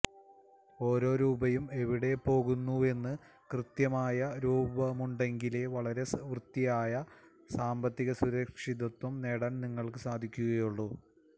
ഓരോ രൂപയും എവിടെപ്പോകുന്നുവെന്ന് കൃത്യമായ രൂപമുണ്ടെങ്കിലേ വളരെ വൃത്തിയായ സാമ്പത്തികസുരക്ഷിതത്വം നേടാന് നിങ്ങള്ക്ക് സാധിക്കുകുള്ളൂ